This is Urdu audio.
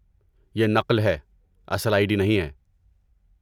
یہ نقل ہے، اصل آئی ڈی نہیں ہے۔